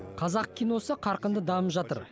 қазақ киносы қарқынды дамып жатыр